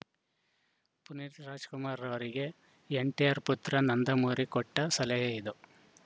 ಪುನೀತ್‌ ರಾಜ್‌ಕುಮಾರ್‌ ಅವರಿಗೆ ಎನ್‌ಟಿಆರ್‌ ಪುತ್ರ ನಂದಮೂರಿ ಕೊಟ್ಟಸಲಹೆ ಇದು